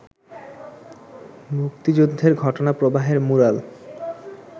মুক্তিযুদ্ধের ঘটনা প্রবাহের ম্যূরাল